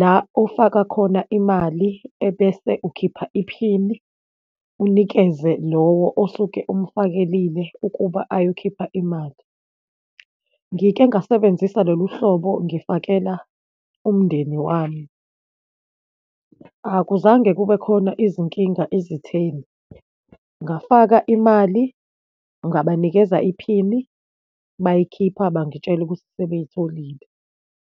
la ofaka khona imali ebese ukhipha iphini, unikeze lowo osuke umfakelile ukuba ayokhipha imali. Ngike ngasebenzisa lolu hlobo ngifakela umndeni wami. Akuzange kube khona izinkinga ezitheni, ngafaka imali, ngabanikeza iphini, bayikhipha, bangitshela ukuthi sebeyitholile.